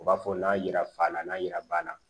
U b'a fɔ n'a yira fa na n'a yira ba na